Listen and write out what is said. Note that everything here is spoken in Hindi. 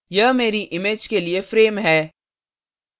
यह मेरी image के लिए frame है